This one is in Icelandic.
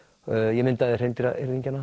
ég myndaði